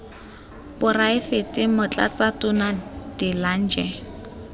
poraefete motlatsa tona de lange